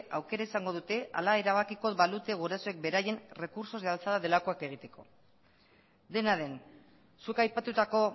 aukera izango dute hala erabakiko balute gurasoek beraien recursos de alzada delakoak egiteko dena den zuk aipatutako